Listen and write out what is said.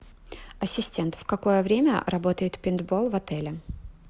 ассистент в какое время работает пейнтбол в отеле